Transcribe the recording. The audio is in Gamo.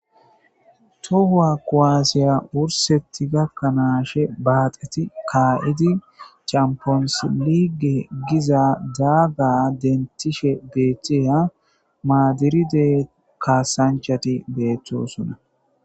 Tohuwa koaasiya wursetti gakkanaashe baaxeti kaa'idi champonsi lige giza daaga dentishe beethtiya maadiride kaasanchati beettosona.